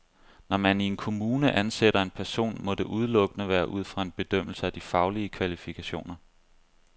Når man i en kommune ansætter en person, må det udelukkende være ud fra en bedømmelse af de faglige kvalifikationer.